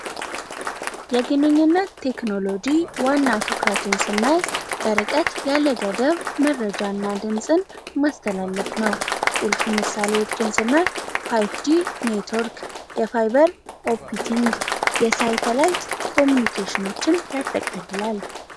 የግንኙነት ቴክኖሎጂ ዋና ቶክራቱንስ ና በርቀት ያለገደብ መረጃ እና ድምፅን ማስተላለፍ ነው ቁልፍ ምሳለዎች ድንጽእናይ 5 ጂ ኔትወርክ የፋይበር ኦፒቲንግ የሳይተላይት ኮሚኒኬሽንችን ያጠቃልላል።